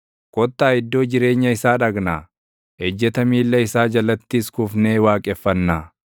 “Kottaa iddoo jireenya isaa dhaqnaa; ejjeta miilla isaa jalattis kufnee waaqeffannaa.